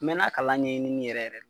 N mɛɛnna kalan ɲɛɲini yɛrɛ yɛrɛ